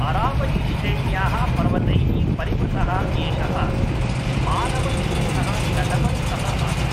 अरावली श्रेण्याः पर्वतैः परिवृतः एषः मानव निर्मितः तटबन्धः आसीत्।